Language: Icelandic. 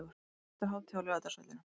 Fjölskylduhátíð á Laugardalsvellinum